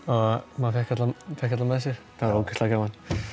maður fékk alla með sér þetta var ógeðslega gaman